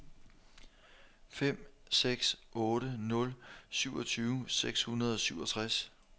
fem seks otte nul syvogtyve seks hundrede og syvogtres